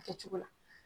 A kɛcogo la